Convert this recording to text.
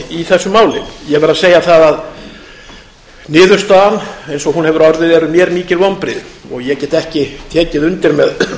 í þessu máli ég verð að segja það að niðurstaðan eins og hún hefur orðið eru mér mikil vonbrigði og ég get ekki tekið undir með